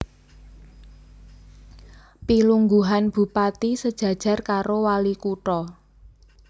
Pilungguhan Bupati sejajar karo Walikutha